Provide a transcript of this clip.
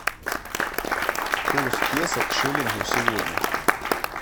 курс песо к шиллингу сегодня